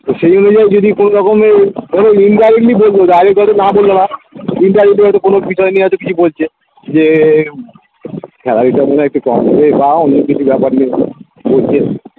তো সেই অনুযায়ী যদি কোনোরকমে ওদের indirectly বলবো direct হয়তো না বললে বা indirectly হয়তো কোনো বিষয় নিয়ে হয়তো কিছু বলছে যে বা অন্য কিছু ব্যাপার নিয়ে বলছে